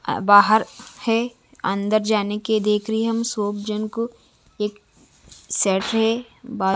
बाहर है अन्दर जाने के लिए देख रही हूं हम सब जन को एक सेट हैं।